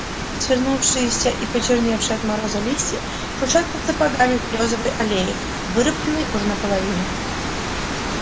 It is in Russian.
свернувшиеся и почерневшие от мороза листья шуршат под сапогами в берёзовой аллее вырубленной уже наполовину